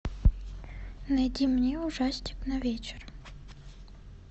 найди мне ужастик на вечер